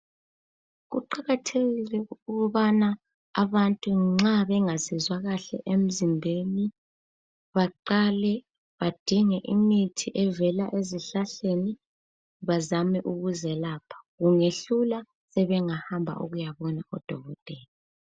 Kuqakathekile ukubana abantu nxa bengazizwa kahle emizimbeni baqale badinge imithi evela ezihlahleni, bazame ukuzelapha. Kungehlula sebengahamba ukuyabona odokotela.